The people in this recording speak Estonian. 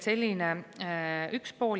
See on üks pool.